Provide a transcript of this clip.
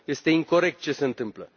Este incorect ce se întâmplă.